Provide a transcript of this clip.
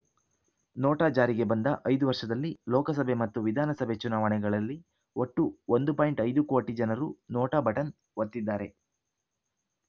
NOTA ಜಾರಿಗೆ ಬಂದ ಐದು ವರ್ಷದಲ್ಲಿ ಲೋಕಸಭೆ ಮತ್ತು ವಿಧಾನಸಭೆ ಚುನಾವಣೆಗಳಲ್ಲಿ ಒಟ್ಟು ಒಂದು ಪಾಯಿಂಟ್ ಐದು ಕೋಟಿ ಜನರು ನೋಟಾ ಬಟನ್‌ ಒತ್ತಿದ್ದಾರೆ